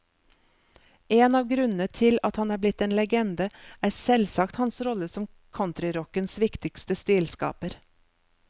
En av grunnene til at han er blitt en legende, er selvsagt hans rolle som countryrockens viktigste stilskaper.